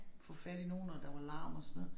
Få fat i nogen og der var larm og sådan noget